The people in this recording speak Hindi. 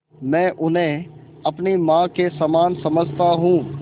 मैं उन्हें अपनी माँ के समान समझता हूँ